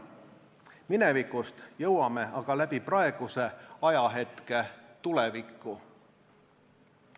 Minevikust jõuame aga läbi praeguse ajahetke tulevikku.